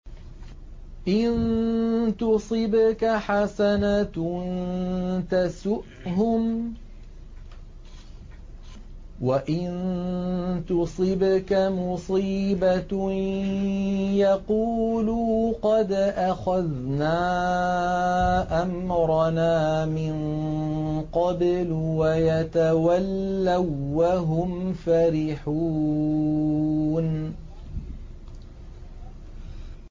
إِن تُصِبْكَ حَسَنَةٌ تَسُؤْهُمْ ۖ وَإِن تُصِبْكَ مُصِيبَةٌ يَقُولُوا قَدْ أَخَذْنَا أَمْرَنَا مِن قَبْلُ وَيَتَوَلَّوا وَّهُمْ فَرِحُونَ